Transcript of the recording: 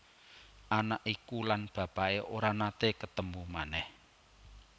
Anak iku lan bapaké ora naté ketemu manèh